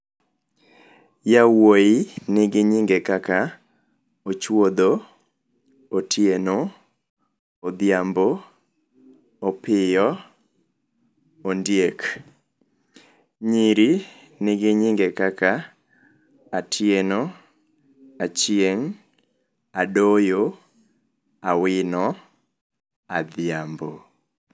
Yawuoyi nigi nyinge kaka Ochuodho, Otieno, Odhiambo, Opiyo, Ondiek. Nyiri nigi nyinge kaka Atieno, Achieng', Adoyo, Awino, Adhiambo.